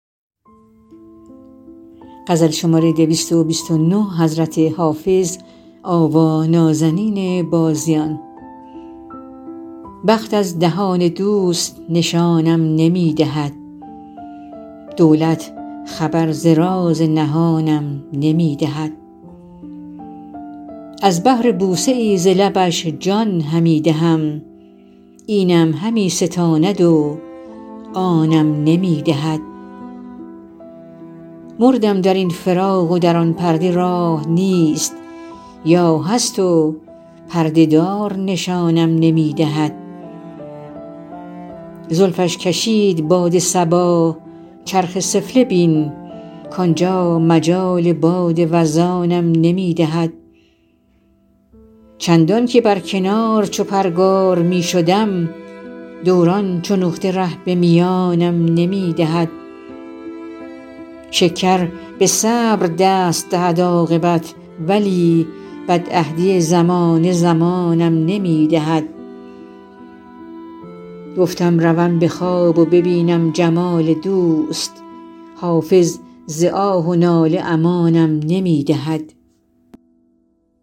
بخت از دهان دوست نشانم نمی دهد دولت خبر ز راز نهانم نمی دهد از بهر بوسه ای ز لبش جان همی دهم اینم همی ستاند و آنم نمی دهد مردم در این فراق و در آن پرده راه نیست یا هست و پرده دار نشانم نمی دهد زلفش کشید باد صبا چرخ سفله بین کانجا مجال باد وزانم نمی دهد چندان که بر کنار چو پرگار می شدم دوران چو نقطه ره به میانم نمی دهد شکر به صبر دست دهد عاقبت ولی بدعهدی زمانه زمانم نمی دهد گفتم روم به خواب و ببینم جمال دوست حافظ ز آه و ناله امانم نمی دهد